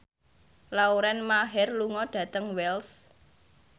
Lauren Maher lunga dhateng Wells